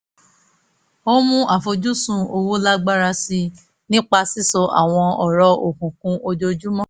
ó mú àfojúsùn owó lágbára sí i nípa sísọ àwọn ọ̀rọ̀ òkunkun ojoojúmọ́